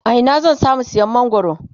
a Ina zan samu siyan mangwaro?